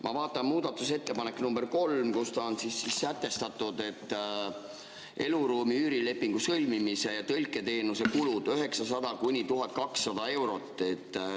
Ma vaatan muudatusettepanekut nr 3, kus on sätestatud, et eluruumi üürilepingu sõlmimise ja tõlketeenuse kulud on 900–1200 eurot.